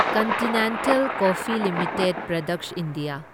continental Coffee Limited products India